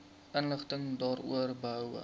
inligting daaroor behoue